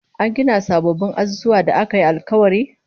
An gina sababbin azuzuwan da aka yi alkawari?